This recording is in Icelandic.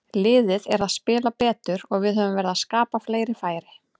Liðið er að spila betur og við höfum verið að skapa fleiri færi.